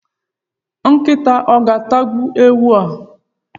Nkịta o ga-atagbuwu ewu a?.